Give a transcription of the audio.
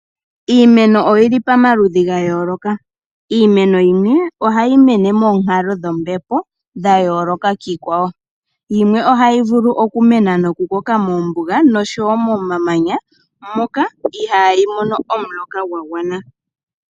Iimeno oyili pamaludhi ga yooloka. Iimeno yimwe ohayi mene monkalo dhombepo dha yooloka kiikwawo yimwe ohayi vulu okumena noku koka mombuga nomomamanya moka ihayi mono omuloka gwa gwana.